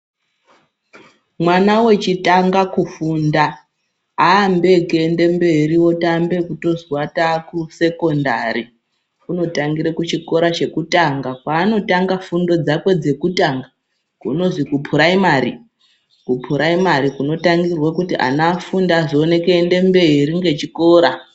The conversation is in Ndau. Mwana wechitanga kufunda aambi ngekuende mberi wotoambe ekuzwi wataa kusekondari, unotangire kuchikora chekutanga kwaanotanga fundo dzakwe dzekutanga kunozi kuphuraimari kunotangirwe kuti ana afunde azoone kunde mberi ngechikora.